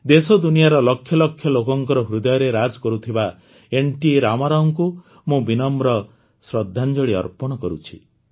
ଦେଶଦୁନିଆର ଲକ୍ଷ ଲକ୍ଷ ଲୋକଙ୍କର ହୃଦୟରେ ରାଜ କରୁଥିବା ଏନ୍ଟି ରାମାରାଓଙ୍କୁ ମୁଁ ବିନମ୍ର ଶ୍ରଦ୍ଧାଞ୍ଜଳି ଅର୍ପଣ କରୁଛି